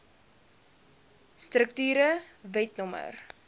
strukture wet no